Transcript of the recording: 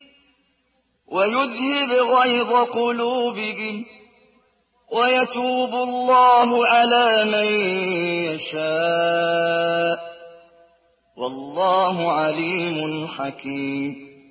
وَيُذْهِبْ غَيْظَ قُلُوبِهِمْ ۗ وَيَتُوبُ اللَّهُ عَلَىٰ مَن يَشَاءُ ۗ وَاللَّهُ عَلِيمٌ حَكِيمٌ